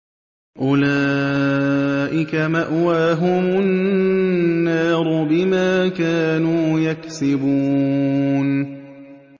أُولَٰئِكَ مَأْوَاهُمُ النَّارُ بِمَا كَانُوا يَكْسِبُونَ